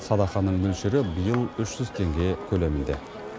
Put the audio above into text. садақаның мөлшері биыл үш жүз теңге көлемінде